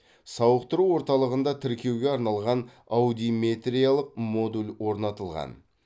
сауықтыру орталығында тіркеуге арналған аудиметриялық модуль орнатылған